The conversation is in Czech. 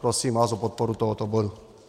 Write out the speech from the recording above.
Prosím vás o podporu tohoto bodu.